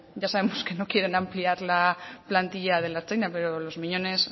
ya sabemos que no quieren ampliar la plantilla de la ertzaintza pero los miñones